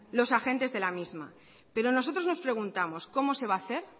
los agentes de la misma pero nosotros nos preguntamos cómo se va a hacer